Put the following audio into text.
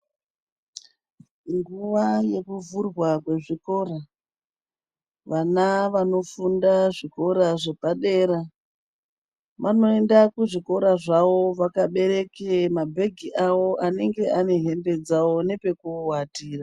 Nguwa yekuvhurwa kwezvikora vana vanofunda zvikora zvepadera vanoenda kuzvikora zvawo vakabereke mabhege awo anenge ane hembe dzawo nepekuwatira.